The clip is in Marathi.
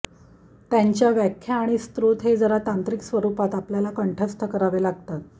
त्यांच्या व्याख्या आणि स्रोत हे जरा तांत्रिक स्वरूपात आपल्याला कंठस्थ करावे लागतात